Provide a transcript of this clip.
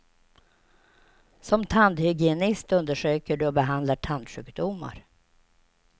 Som tandhygienist undersöker du och behandlar tandsjukdomar.